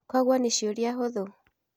Kogwo nĩ ciũria hũthũ?